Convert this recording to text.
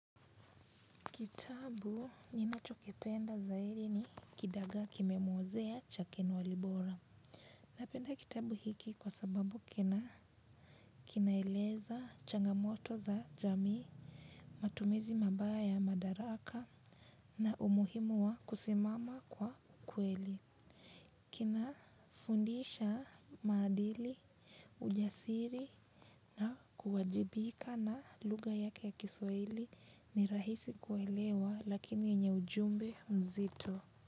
Kitabu nina chokipenda zaidi ni kidagaa kimemwozea cha Ken Walibora. Napenda kitabu hiki kwa sababu kina kinaeleza changamoto za jamii, matumizi mabaya ya madaraka na umuhimu wa kusimama kwa kweli. Kina fundisha maadili, ujasiri na kuwajibika na lugha yake ya kiswahili ni rahisi kuelewa lakini yenye ujumbe nzito.